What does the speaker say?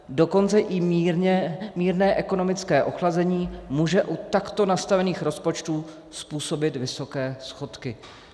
Dokonce i mírné ekonomické oslabení může u takto nastavených rozpočtů způsobit vysoké schodky.